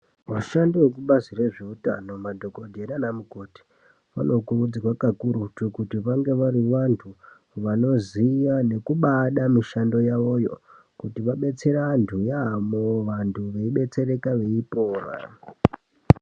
Vashandi vekubazi rezveutano madhokodheya nana mukoti vanokurudzirwa kakurutu kuti vange vari vantu vanoziya nekubaada mishando yavoyo kuti vabetsere vantu yamo vantu vedetsereka veipora.